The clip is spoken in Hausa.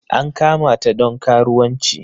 An kamata don karuwanci.